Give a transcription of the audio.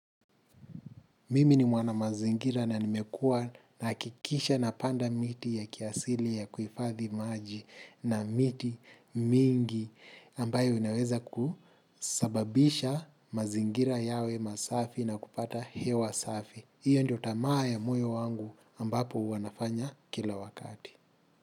Mimi ni mwana mazingira na nimekua nahakikisha napanda miti ya kiasili ya kufadhi maji na miti mingi ambayo inaweza kusababisha mazingira yawe masafi na kupata hewa safi. Iyo ndio tamaa ya moyo wangu ambapo huwa nafanya kila wakati.